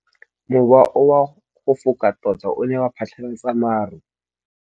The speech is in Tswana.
Mowa o wa go foka tota o ne wa phatlalatsa maru.